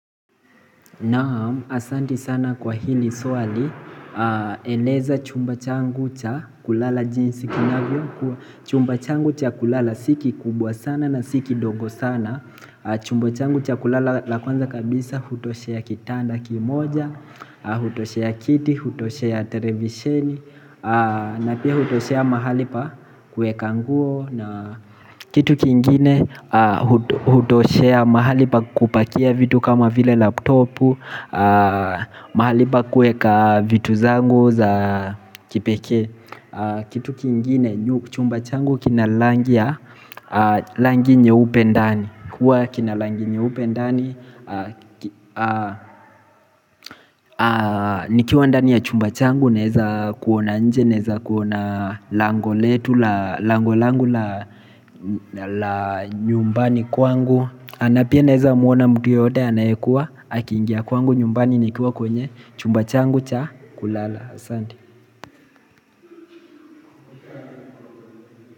Naam, asante sana kwa hili swali eleza chumba changu cha kulala jinsi kinavyokuwa Chumba changu cha kulala si kikubwa sana na si kidogo sana Chumba changu cha kulala la kwanza kabisa hutoshea kitanda kimoja. Hutoshea kiti, hutoshea televisheni na pia hutoshea mahali pa kueka nguo. Na kitu kingine hutoshea mahali pa kupakia vitu kama vile laptopu mahali pa kuweka vitu zangu za kipekee Kitu kingine chumba changu kina rangi ya rangi nyeupe ndani. Huwa kina rangi nyeupe ndani nikiwa ndani ya chumba changu naweza kuona nje. Naweza kuona lango letu la, lango langu la nyumbani kwangu na pia naweza muona mtu yeyote anayekuwa akiingia kwangu nyumbani nikiwa kwenye chumba changu kulala, Asante.